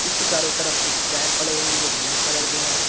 इसके चारों तरफ कुछ टायर पड़े हुए हैं जो ब्लैक कलर के हैं।